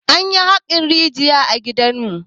Anyi haƙan rijiya a gidanmu.